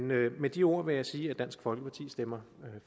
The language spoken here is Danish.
med med de ord vil jeg sige at dansk folkeparti stemmer